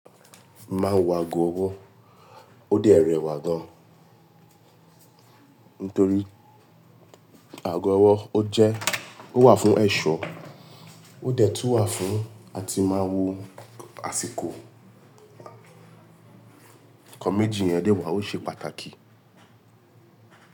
Máa wo ago ọwọ́ ó dé rẹwà gan. Nítorí ago ọwọ́ ó jẹ́ ó wà fún ẹ̀ṣọ́ ó dẹ̀ tún wà fún a ti máa wo àsìkò. Nkan méjì yẹn dẹ wà ó ṣe pàtàkì.